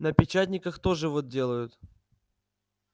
на печатниках тоже вот делают